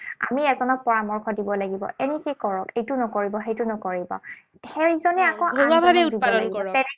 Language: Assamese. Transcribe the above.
আমি এজনক পৰামৰ্শ দিব লাগিব, এনেকৈ কৰক, এইটো নকৰিব, সেইটো নকৰিব। সেইজনে আকৌ আন এজনক